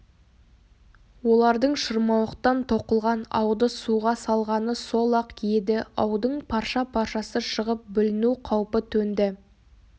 олардың шырмауықтан тоқылған ауды суға салғаны сол-ақ еді аудың парша-паршасы шығып бүліну қаупі төнді